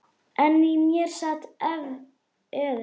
En í mér sat efinn.